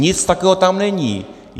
Nic takového tam není.